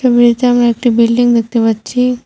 ছবিটিতে আমরা একটি বিল্ডিং দেখতে পাচ্ছি।